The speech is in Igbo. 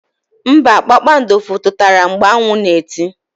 Mba, kpakpando fututara mgbe anwu na eti.